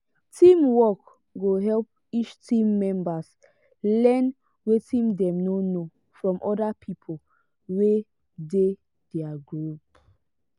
teamwork go help each team members learn wetin dem no know from other people wey dey their group.